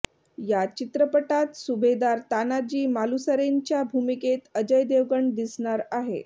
या चित्रपटात सुभेदार तानाजी मालुसरेंच्या भूमिकेत अजय देवगण दिसणार आहे